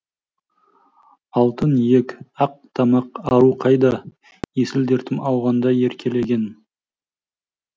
алтын иек ақ тамақ ару қайда есіл дертім ауғанда еркелеген